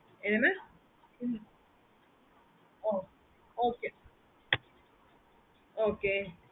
என்ன mamokay